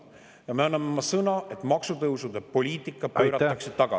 Ja me anname oma sõna, et maksutõusude poliitika tagasi.